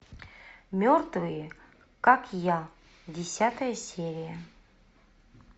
мертвые как я десятая серия